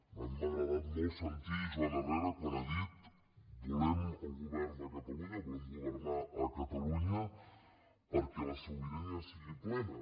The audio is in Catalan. a mi m’ha agradat molt sentir joan herrera quan ha dit volem el govern de catalunya volem governar a catalunya perquè la sobirania sigui plena